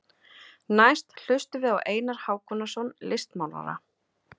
Næst hlustum við á Einar Hákonarson listmálara.